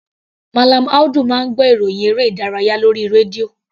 Mallam Audu máa ń gbọ́ ìròhìn eré ìdárayá lórí rédíò.